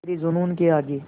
तेरे जूनून के आगे